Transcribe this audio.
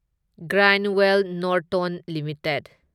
Grindwell Norton limited